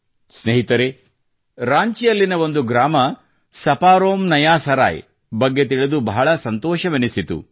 ಸ್ನೇಹಿತರೇ ರಾಂಚಿಯಲ್ಲಿನ ಒಂದು ಗ್ರಾಮ ಸಪಾರೋಮ್ನಯಾಸರಾಯ್ ಬಗ್ಗೆ ತಿಳಿದು ಬಹಳ ಸಂತೋಷವೆನಿಸಿತು